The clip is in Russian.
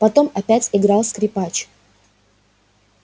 потом опять играл скрипач